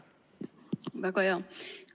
Väga hea!